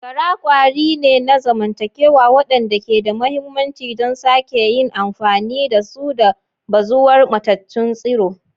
Gara kwari ne na zamantakewa waɗanda ke da mahimmanci don sake yin amfani da su da bazuwar matattun tsiro.